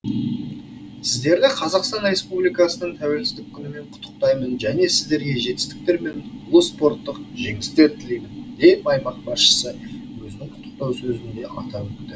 сіздерді қазақстан республикасының тәуелсіздік күнімен құттықтаймын және сіздерге жетістіктер мен ұлы спорттық жеңістер тілеймін деп аймақ басшысы өзінің құттықтау сөзінде атап өтті